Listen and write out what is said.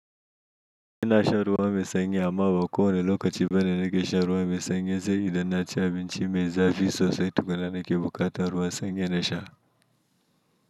Inashan ruwa mai sanyi amma ba kowanne lokaci bane nake sha ruwa mai sanyi saboda innaci abinchi me zafi sosai tukunna nake bukatan ruwan sanyi nasha.